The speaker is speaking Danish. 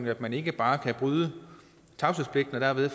at man ikke bare kan bryde tavshedspligten og derved